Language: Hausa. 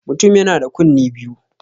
Mutum yana da kunne biyu.